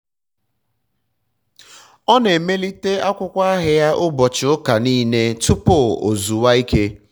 um ọ na-emelite akwụkwọ ahịa ya ụbọchị ụka nile um tụpụ o zuwa ike